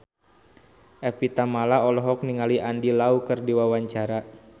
Evie Tamala olohok ningali Andy Lau keur diwawancara